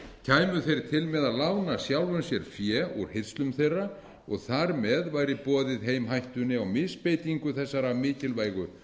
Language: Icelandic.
kæmu þeir til með að lána sjálfum sér fé úr hirslum þeirra og þar með væri boðið heim hættunni á misbeitingu þessara mikilvægu